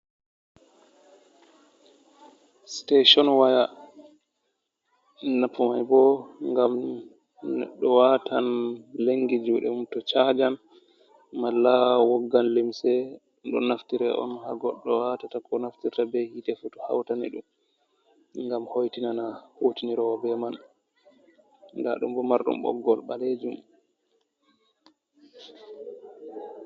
Sitetion waya, napumai bo gam doh watan lengi jude mùm to chajan mal la woggan lemse don naftira on ha goddo watata ko naftirta be hite fotu hautani dum gam houtinana wutinirowo bé man, dadɗum bo mardum boggol balejum.